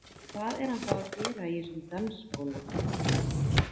Hvað er hann þá að gera í þessum dansskóla?